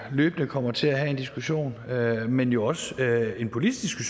løbende kommer til at have en diskussion men jo også en politisk